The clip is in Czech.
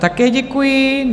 Také děkuji.